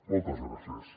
moltes gràcies